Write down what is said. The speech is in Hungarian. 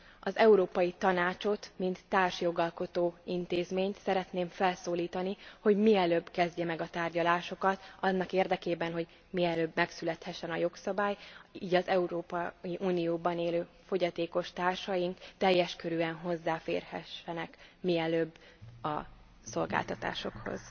Az Európai Tanácsot, mint társjogalkotó intézményt szeretném felszólítani, hogy mielőbb kezdje meg a tárgyalásokat annak érdekében, hogy mielőbb megszülethessen a jogszabály, így az Európai Unióban élő fogyatékos társaink teljes körűen hozzáférhessenek mielőbb a szolgáltatásokhoz.